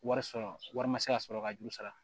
Wari sɔrɔ wari ma se ka sɔrɔ ka juru sara